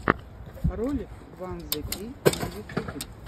ролик ван зе кей на ютюбе